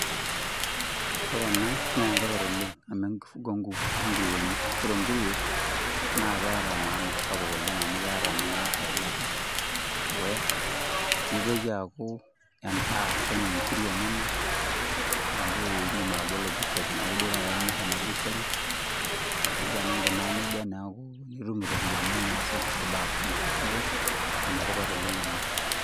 Ore ena naa enetipat oooleng amu ekifungo o nguruweni ore enguruwe naa keeta maana sapuk oooleng amu keeta ninye eilata nedukuya, nitoki aaku kenyae nkiri enyena neaku idim atabolo butchery neaku duo imir ena butchery ashu tenikunaa nejia neaku itum ropiyiani niasie kulie baa kumok neaku enetipat ooleng ena.